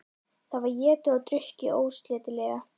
Það var étið og drukkið ósleitilega.